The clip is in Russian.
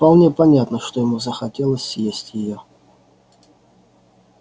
вполне понятно что ему захотелось съесть её